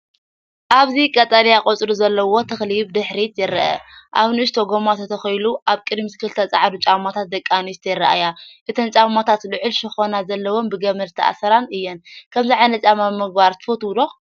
ኣብዚ ቀጠልያ ቆጽሊ ዘለዎ ተኽሊ ብድሕሪት ይርአ። ኣብ ንእሽቶ ጎማ ተተኺሉ። ኣብ ቅድሚት ክልተ ፀዓዱ ጫማታት ደቂ ኣንስትዮ ይረኣያ፡ እተን ጫማታት ልዑል ሸኾና ዘለወንን ብገመድ ዝተኣስራን እየን። ከምዚ ዓይነት ጫማ ምግባር ትፈትው ዶ?